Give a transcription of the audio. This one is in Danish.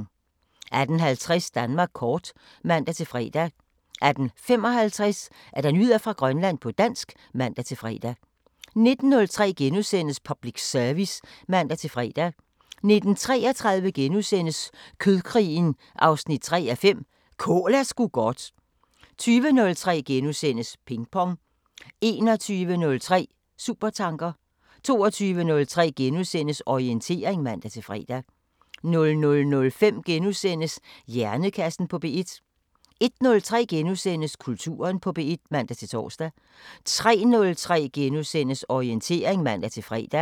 18:50: Danmark kort (man-fre) 18:55: Nyheder fra Grønland på dansk (man-fre) 19:03: Public Service *(man-fre) 19:33: Kødkrigen 3:5 – Kål er sgu godt * 20:03: Ping Pong * 21:03: Supertanker 22:03: Orientering *(man-fre) 00:05: Hjernekassen på P1 * 01:03: Kulturen på P1 *(man-tor) 03:03: Orientering *(man-fre)